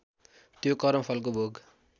त्यो कर्मफलको भोग